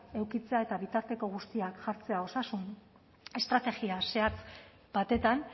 edukitzea eta bitarteko guztiak jartzea osasun estrategia zehatz batetan